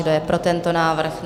Kdo je pro tento návrh?